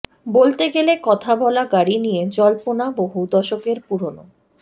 বলতে গেলে কথা বলা গাড়ি নিয়ে জল্পনা বহু দশকের পুরনো